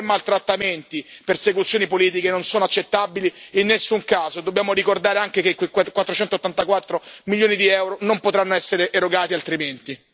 Torture, maltrattamenti e persecuzioni politiche non sono accettabili in nessun caso e dobbiamo ricordare anche che quei 484 milioni di euro non potranno essere erogati altrimenti.